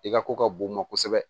I ka ko ka bon u ma kosɛbɛ